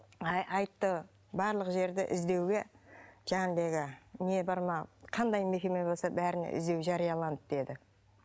айтты барлық жерде іздеуге не бар ма қандай мекеме болса бәріне іздеу жарияланды деді